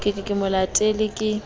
re ke mo letele ke